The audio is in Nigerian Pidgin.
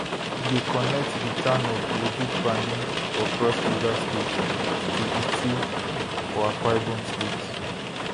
e dey connect di town of odukpani for cross river state to itu for akwa ibom state